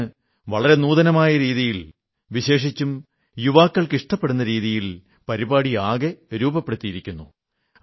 അങ്ങ് വളരെ നൂതനമായ രീതിയിൽ വിശേഷിച്ചും യുവാക്കൾക്ക് ഇഷ്ടപ്പെടുന്ന രീതിയിൽ പരിപാടിയാകെ രൂപപ്പെടുത്തിയിരിക്കുന്നു